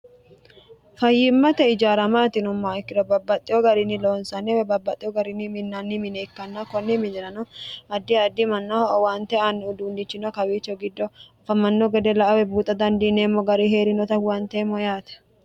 fayyimmate ijaara maati yinummoha ikkiro babbaxxewo garinni loonsani woy babbaxxewo garini minnanni mine ikkanna konni minirano addi addi mannaho owaante anni uduunlichino kawiicho giddo afamanno gede la"a woy buuxa dandiineemmo gari heerinota huwanteemmo yaate